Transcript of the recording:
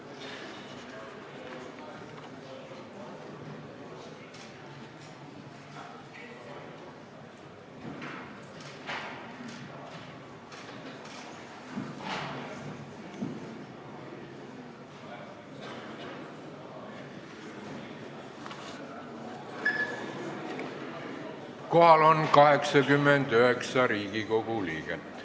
Kohaloleku kontroll Kohal on 89 Riigikogu liiget.